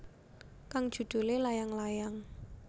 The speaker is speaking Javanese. Kang judulé Layang Layang